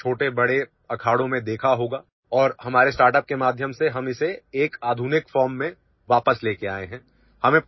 आपने इसेछोटे बड़े अखाड़ों में देखा होगा और हमारे ଷ୍ଟାର୍ଟଅପ୍ के माध्यम सेहम इसे एक आधुनिक ଫର୍ମ में वापस लेकर आए हैं